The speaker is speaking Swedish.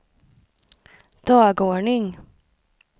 dagordning